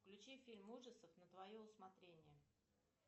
включи фильм ужасов на твое усмотрение